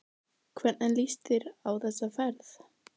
Páll: Hvernig líst þér á þessa ferð?